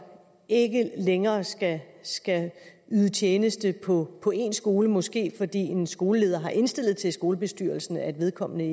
ikke længere skal yde tjeneste på på en skole måske fordi en skoleleder har indstillet til skolebestyrelsen at vedkommende